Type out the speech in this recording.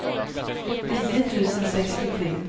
nio tusen sextiotre